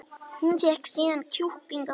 Hún fékk síðan kjúkling að borða